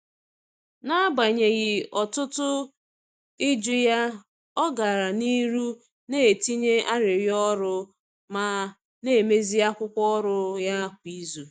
N’agbanyeghị ọtụtụ ịjụ ya, ọ gara n’ihu na-etinye arịrịọ ọrụ ma na-emezi akwụkwọ ọrụ ya kwa izu.